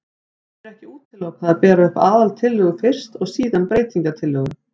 Hér er ekki útilokað að bera upp aðaltillögu fyrst og síðan breytingatillögu.